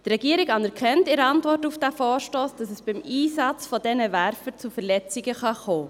Die Regierung anerkennt in der Antwort auf diesen Vorstoss, dass es beim Einsatz dieser Werfer zu Verletzungen kommen kann.